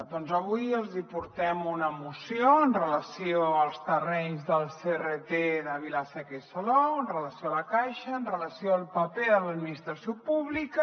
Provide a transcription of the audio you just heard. doncs avui els hi portem una moció amb relació als terrenys del crt de vila seca i salou amb relació a la caixa amb relació al paper de l’administració pública